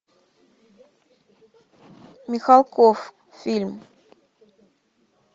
михалков фильм